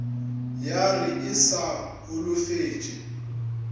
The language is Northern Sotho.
ya re e sa holofetše